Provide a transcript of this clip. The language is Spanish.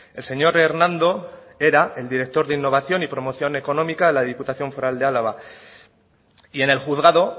el señor hernando era el director de innovación y promoción económica de la diputación foral de álava y en el juzgado